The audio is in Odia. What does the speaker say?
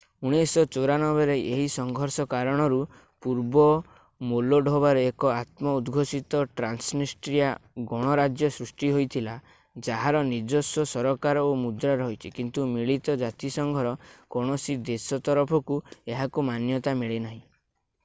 1994 ରେ ଏହି ସଂଘର୍ଷ କାରଣରୁ ପୂର୍ବ ମୋଲଡୋଭାରେ ଏକ ଆତ୍ମ-ଉଦ୍‌ଘୋଷିତ ଟ୍ରାନ୍ସନିଷ୍ଟ୍ରିଆ ଗଣରାଜ୍ୟ ସୃଷ୍ଟି ହୋଇଥିଲା ଯାହାର ନିଜସ୍ୱ ସରକାର ଓ ମୁଦ୍ରା ରହିଛି କିନ୍ତୁ ମିଳିତ ଜାତିସଂଘର କୌଣସି ଦେଶ ତରଫକୁ ଏହାକୁ ମାନ୍ୟତା ମିଳିନାହିଁ।